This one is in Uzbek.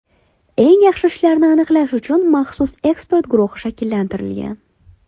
Eng yaxshi ishlarni aniqlash uchun maxsus ekspert guruhi shakllantirilgan.